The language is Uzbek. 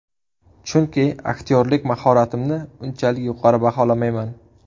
Chunki aktyorlik mahoratimni unchalik yuqori baholamayman.